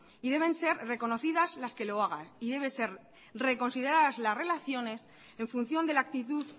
y deben ser reconocidas las que lo hagan y deben ser reconsideradas las relaciones en función de la actitud